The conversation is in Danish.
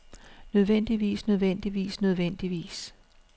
nødvendigvis nødvendigvis nødvendigvis